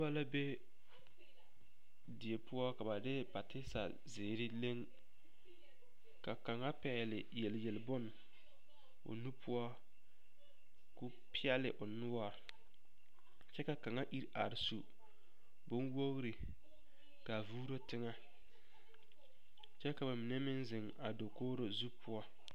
Noba la be die poɔ ka ba de patesa zeere leŋ ka kaŋa pɛgle yelyelbone o nu poɔ k,o peɛle o noɔre kyɛ ka kaŋa iri are su bonwogri k,a vuuro teŋɛ kyɛ ka ba mine meŋ zeŋ a dakogro zu poɔ.